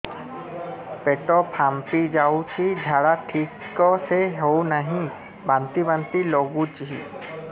ପେଟ ଫାମ୍ପି ଯାଉଛି ଝାଡା ଠିକ ସେ ହଉନାହିଁ ବାନ୍ତି ବାନ୍ତି ଲଗୁଛି